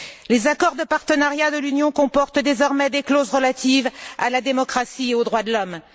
Les accords de partenariat de l'Union comportent désormais des clauses relatives à la démocratie et aux droits de l'homme.